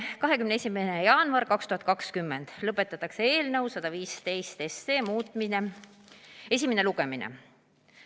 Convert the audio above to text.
21. jaanuar 2020 – lõpetatakse eelnõu 115 esimene lugemine.